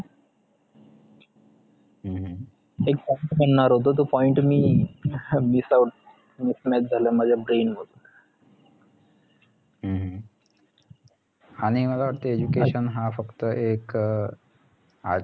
एक point म्हणणारहोतो point मी missout mismatch झालं माझ्या brain मधून